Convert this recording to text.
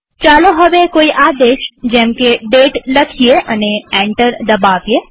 ચાલો હવે કોઈ આદેશ જેમકે દાતે લખીએ અને એન્ટર દબાવીએ